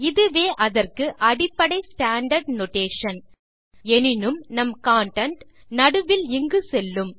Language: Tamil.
இதுவே அதற்கு அடிப்படை ஸ்டாண்டார்ட் நோடேஷன் எனினும் நம் கன்டென்ட் நடுவில் இங்கு செல்லும்